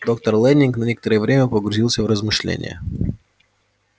доктор лэннинг на некоторое время погрузился в размышления